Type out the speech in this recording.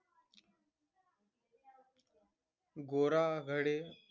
गोरा, घरे,